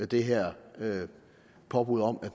det her påbud om at